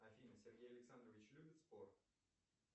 афина сергей александрович любит спорт